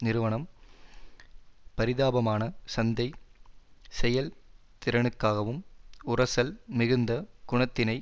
நிறுவனம் பரிதாபமான சந்தை செயல் திறனுக்காகவும் உரசல் மிகுந்த குணத்தினை